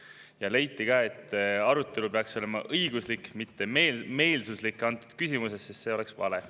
Ja leiti ka, et selle küsimuse arutelu peaks olema õiguslik, mitte meelsuslik, sest see oleks vale.